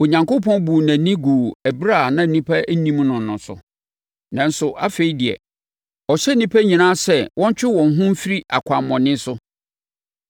Onyankopɔn buu nʼani guu ɛberɛ a na nnipa nnim no no so, nanso afei de, ɔhyɛ nnipa nyinaa sɛ wɔntwe wɔn ho mfiri akwammɔne so.